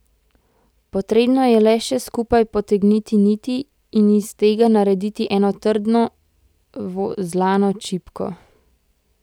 Potrebno je le še skupaj potegniti niti in iz tega narediti eno trdno vozlano čipko.